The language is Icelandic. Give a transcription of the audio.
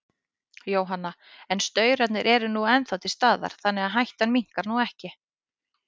Jóhanna: En staurarnir eru nú ennþá til staðar, þannig að hættan minnkar nú ekki?